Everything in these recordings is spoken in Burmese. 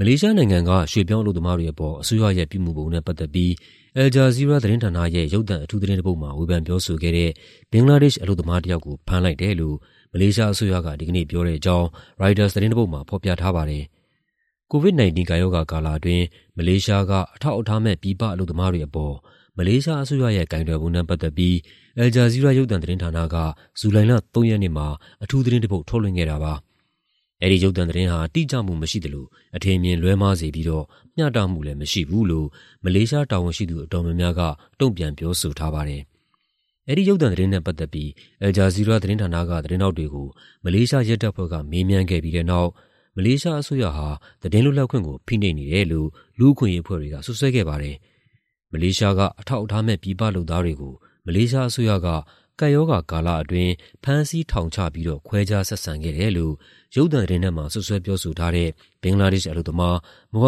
မလေးရှားနိုင်ငံက ရွှေ့ပြောင်းအလုပ်သမားတွေအပေါ် အစိုးရရဲ့ ပြုမူပုံနဲ့ ပတ်သက်ပြီး Al Jazeera သတင်းဌာနရဲ့ ရုပ်သံအထူးသတင်းတပုဒ်မှာ ဝေဖန်ပြောဆိုခဲ့တဲ့ ဘင်္ဂလားဒေ့ရှ် အလုပ်သမားတယောက်ကို ဖမ်းလိုက်တယ်လို့ မလေးရှားအစိုးရက ဒီကနေ့ ပြောတဲ့အကြောင်း ရိုက်တာသတင်းတပုဒ်မှာ ဖော်ပြထားပါတယ်။ COVID-19 ကပ်ရောဂါကာလအတွင်း မလေးရှားက အထောက်အထားမဲ့ ပြည်ပအလုပ်သမားတွေအပေါ် မလေးရှားအစိုးရရဲ့ ကိုင်တွယ်ပုံနဲ့ ပတ်သက်ပြီး Al Jazeera ရုပ်သံသတင်းဌာနက ဇူလိုင်လ ၃ ရက်နေ့မှာ အထူးသတင်းတပုဒ် ထုတ်လွှင့်ခဲ့တာပါ။ အဲဒီရုပ်သံသတင်းဟာ တိကျမှုမရှိသလို အထင်အမြင် လွဲမှားစေပြီးတော့ မျှတမှုလည်း မရှိဘူးလို့ မလေးရှားတာဝန်ရှိသူ အတော်များများက တုံ့ပြန် ပြောဆိုထားပါတယ်။ အဲဒီရုပ်သံသတင်းနဲ့ ပတ်သက်ပြီး Al Jazeera သတင်းဌာနက သတင်းထောက်တွေကို မလေးရှားရဲတပ်ဖွဲ့က မေးမြန်းခဲ့ပြီးတဲ့နောက် မလေးရှားအစိုးရဟာ သတင်းလွတ်လပ်ခွင့်ကို ဖိနှိပ်နေတယ်လို့ လူ့အခွင့်အရေး အဖွဲ့တွေက စွပ်စွဲခဲ့ပါတယ်။ မလေးရှားက အထောက်အထားမဲ့ ပြည်ပလုပ်သားတွေကို မလေးရှားအစိုးရက ကပ်ရောဂါကာလအတွင်း ဖမ်းဆီး ထောင်ချပြီးတော့ ခွဲခြားဆက်ဆံခဲ့တယ်လို့ ရုပ်သံသတင်းထဲမှာ စွပ်စွဲပြောဆိုထားတဲ့ ဘင်္ဂလားဒေ့ရှ်အလုပ်သမား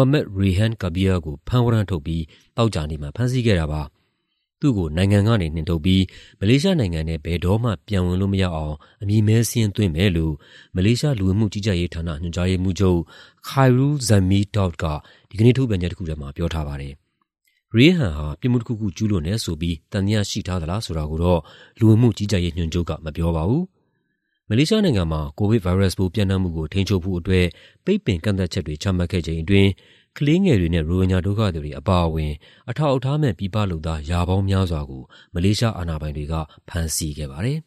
Md Rayhan Kabir ကို ဖမ်းဝရမ်းထုတ်ပြီး သောကြာနေ့မှာ ဖမ်းဆီးခဲ့တာပါ။ သူ့ကို နိုင်ငံကနေ နှင်ထုတ်ပြီး မလေးရှားနိုင်ငံထဲ ဘယ်တော့မှ ပြန်ဝင်လို့မရအောင် အမည်မည်းစာရင်း သွင်းမယ်လို့ မလေးရှား လူဝင်မှုကြီးကြပ်ရေးဌာန ညွှန်ကြားရေးမှူးချုပ် Khairul Dzaimee Daud က ဒီကနေ့ ထုတ်ပြန်ချက်တခုထဲမှာ ပြောထားပါတယ်။ Rayhan ဟာ ပြစ်မှုတခုခု ကျူးလွန်တယ်ဆိုပြီး သံသယရှိထားသလား ဆိုတာကိုတော့ လူဝင်မှုကြီးကြပ်ရေးညွှန်ချုပ်က မပြောပါဘူး။ မလေးရှားနိုင်ငံမှာ ကိုဗစ်ဗိုင်းရပ်စ်ပိုး ပျံ့နှံ့မှုကို ထိန်းချုပ်ဖို့အတွက် ပိတ်ပင်ကန့်သတ်ချက်တွေ ချမှတ်ခဲ့ချိန်အတွင်း ကလေးငယ်တွေနဲ့ ရိုဟင်ဂျာ ဒုက္ခသည်တွေ အပါအဝင် အထောက်အထားမဲ့ ပြည်ပလုပ်သား ရာပေါင်းများစွာကို မလေးရှား အာဏာပိုင်တွေက ဖမ်းဆီးခဲ့ပါတယ်